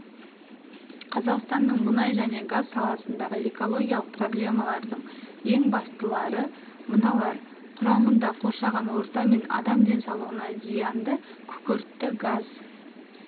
қазақстанның мұнай және газ саласындағы экологиялық проблемалардың ең бастылары мыналар құрамында қоршаған орта мен адам денсаулығына зиянды күкіртті газ